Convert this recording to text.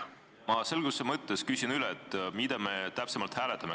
Ma selguse mõttes küsin üle, mida me ikkagi hääletame.